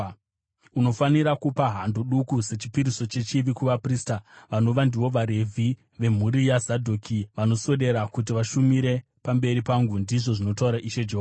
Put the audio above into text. Unofanira kupa hando duku sechipiriso chechivi kuvaprista, vanova ndivo vaRevhi, vemhuri yaZadhoki, vanoswedera kuti vashumire pamberi pangu, ndizvo zvinotaura Ishe Jehovha.